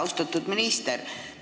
Austatud minister!